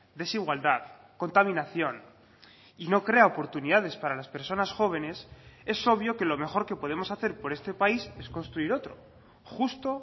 desigualdad contaminación y no crea oportunidades para las personas jóvenes es obvio que lo mejor que podemos hacer por este país es construir otro justo